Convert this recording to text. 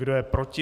Kdo je proti?